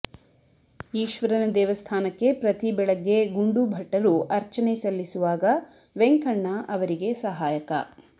ಈಶ್ವರನ ದೇವಸ್ಥಾನಕ್ಕೆ ಪ್ರತಿ ಬೆಳಗ್ಗೆ ಗುಂಡೂಭಟ್ಟರು ಅರ್ಚನೆ ಸಲ್ಲಿಸುವಾಗ ವೆಂಕಣ್ಣ ಅವರಿಗೆ ಸಹಾಯಕ